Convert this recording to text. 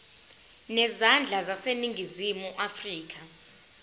zezandla zaseningizimu afrika